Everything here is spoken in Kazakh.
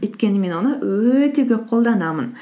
өйткені мен оны өте көп қолданамын